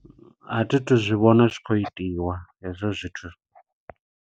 A thi tu zwi vhona zwi tshi khou itiwa hezwo zwithu.